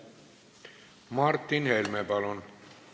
Martin Helme, palun!